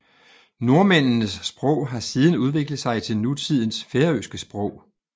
Nordmændenes sprog har siden udviklet sig til nutidens færøske sprog